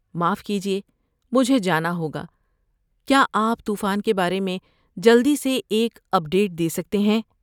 معاف کیجیے، مجھے جانا ہوگا، کیا آپ طوفان کے بارے میں جلدی سے ایک اپ ڈیٹ دے سکتے ہیں؟